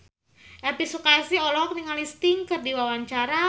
Elvi Sukaesih olohok ningali Sting keur diwawancara